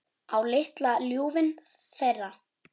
Á litla ljúfinn þeirra.